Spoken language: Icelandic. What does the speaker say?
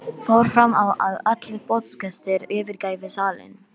Fór fram á að allir boðsgestir yfirgæfu salinn.